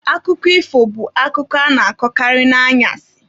Akụkọ ifo bụ akụkọ a na-akọkarị n'anyasị